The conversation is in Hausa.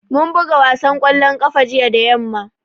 Mun buga wasan ƙwallon ƙafa jiya da yamma